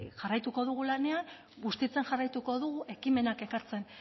jarraituko dugu lanean bustitzen jarraituko dugu ekimenak ekartzen